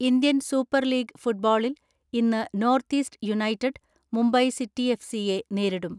Indian super league ഫുട്ബോളിൽ ഇന്ന് North East United, Mumbai City എഫ്.സിയെ നേരിടും.